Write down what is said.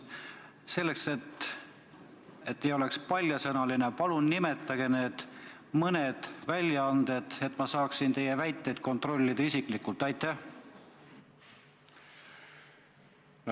Selleks, et te ei oleks paljasõnaline, palun nimetage need mõned väljaanded, et ma saaksin teie väiteid isiklikult kontrollida.